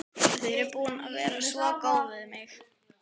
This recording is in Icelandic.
Þið eruð búin að vera svo góð við mig.